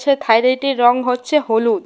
সেই থাইরেইট এর রং হচ্ছে হলুদ।